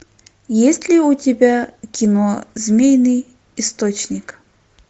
есть ли у тебя кино змеиный источник